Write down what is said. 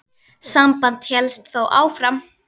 Samband hélst þó áfram.